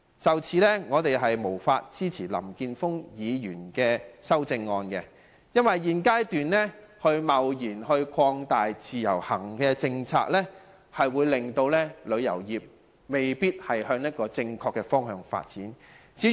就此，我們無法支持林健鋒議員的修正案，因為現階段貿然擴大自由行的政策，未必可令旅遊業朝正確的方向發展，至於......